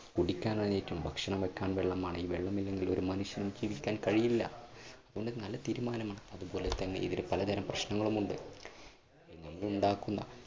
കുടിക്കാൻ ആയിട്ടും, ഭക്ഷണം വയ്ക്കാൻ വെള്ളം വേണം ഈ വെള്ളമില്ലെങ്കിൽ ഒരു മനുഷ്യനും ജീവിക്കാൻ കഴിയില്ല. അതുകൊണ്ട് നല്ല തീരുമാനമാണ്. അതുപോലെ തന്നെ ഇതിന് പലതരം പ്രശ്നങ്ങളുമുണ്ട് ഇല്ലെങ്കിൽ ഉണ്ടാക്കുന്നതാ.